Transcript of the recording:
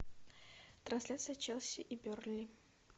трансляция челси и бернли